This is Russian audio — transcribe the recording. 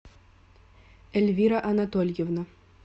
эльвира анатольевна